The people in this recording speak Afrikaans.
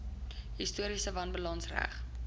historiese wanbalanse reg